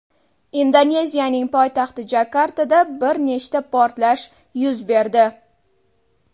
Indoneziyaning poytaxti Jakartada bir nechta portlash yuz berdi.